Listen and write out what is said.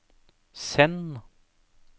send